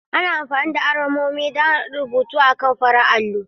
Ana amfani da alamomi don rubutu akan farar allo.